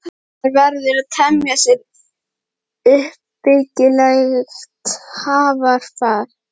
Maður verður að temja sér uppbyggilegt hugarfar.